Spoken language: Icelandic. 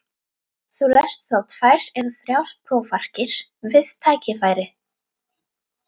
Þú lest þá tvær eða þrjár prófarkir við tækifæri.